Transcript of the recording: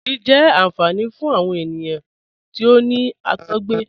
Ogírí jẹ́ ànfàní fún awọn ènìyàn tí ó ní àtọ̀gbẹ